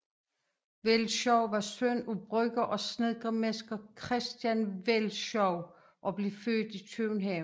Velschow var søn af brygger og snedkermester Christian Velschow og blev født i København